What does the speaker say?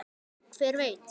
Hver veit